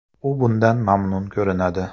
U bundan mamnun ko‘rinadi”.